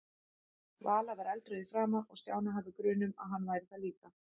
Vala var eldrauð í framan og Stjáni hafði grun um að hann væri það líka.